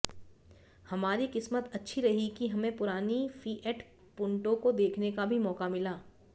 हमारी किस्मत अच्छी रही कि हमें पुरानी फिएट पूंटो को देखने का भी मौका मिला